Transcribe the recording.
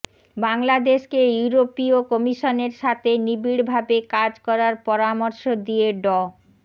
বাংলাদেশকে ইউরোপীয় কমিশনের সাথে নিবিড়ভাবে কাজ করার পরামর্শ দিয়ে ড